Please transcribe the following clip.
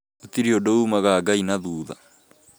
Gũtĩrĩ ũndũ umaga Ngai na thutha